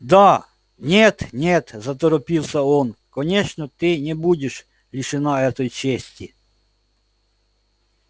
да нет нет заторопился он конечно ты не будешь лишена этой чести